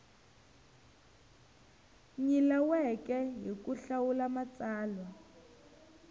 nyilaweke hi ku hlawula matsalwa